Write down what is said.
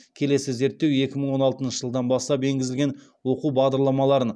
келесі зерттеу екі мың он алтыншы жылдан бастап енгізілген оқу бағдарламаларын